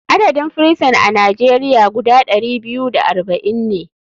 Adadin firison a nigeria guda ɗari biyu da arba'in ne.